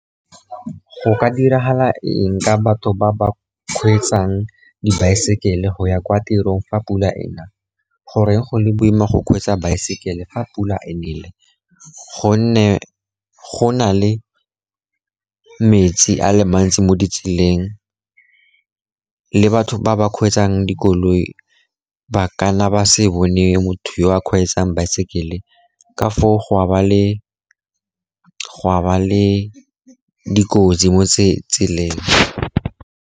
Go ka diragala eng ka batho ba ba kgweetsang dibaesekele go ya kwa tirong fa pula ena, goreng go le boima go kgweetsa baesekele fa pula ena ? Gonne go na le metsi a le mantsi mo ditseleng, le batho ba ba kgweetsang dikoloi ba kana ba se bone motho yo a kgweetsang baesekele ka foo go a ba le dikotsi mo tseleng.